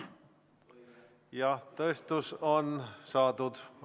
Jah, tõestus on saadud.